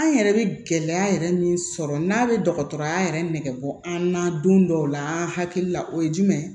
An yɛrɛ bɛ gɛlɛya yɛrɛ min sɔrɔ n'a bɛ dɔgɔtɔrɔya yɛrɛ nɛgɛ bɔ an na don dɔw la an hakili la o ye jumɛn ye